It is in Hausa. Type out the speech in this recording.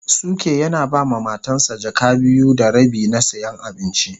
Suke yana ba ma Matan sa jaka biyu da rabi na siyan abinci.